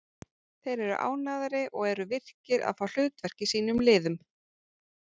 Þeir eru ánægðari og eru virkir og fá hlutverk í sínum liðum.